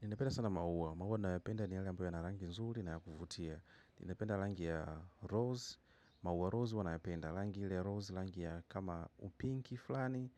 Ninapenda sana maua. Maua ninayopenda ni yale ambayo yana rangi nzuri na kuvutia. Ninapenda rangi ya rose, maua rose ninayoyapenda. Rangi ile rose, rangi kama pinki fulani,